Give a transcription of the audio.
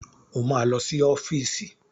O máa lọ sí ọ́fíìsì.